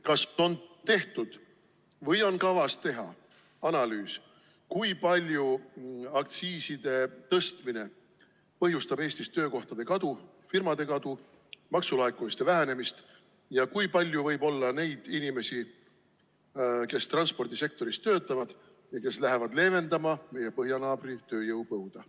Kas on tehtud või on kavas teha analüüs, kui palju aktsiiside tõstmine põhjustab Eestis töökohtade kadu, firmade kadu, maksulaekumiste vähenemist ja kui palju võib olla neid inimesi, kes transpordisektoris töötavad ja lähevad leevendama meie põhjanaabri tööjõupõuda?